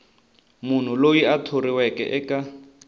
munhu loyi a thoriweke eka